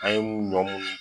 An ye mun